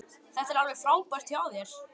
Þetta var alveg frábært hjá þér.